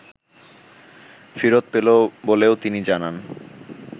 ফিরত পেল বলেও তিনি জানান